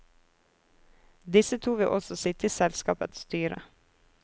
Disse to vil også sitte i selskapets styre.